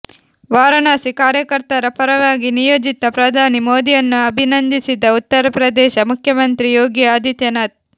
ವಾರಣಾಸಿ ಕಾರ್ಯಕರ್ತರ ಪರವಾಗಿ ನಿಯೋಜಿತ ಪ್ರಧಾನಿ ಮೋದಿಯನ್ನು ಅಭಿನಂದಿಸಿದ ಉತ್ತರಪ್ರದೇಶ ಮುಖ್ಯಮಂತ್ರಿ ಯೋಗಿ ಆದಿತ್ಯನಾಥ್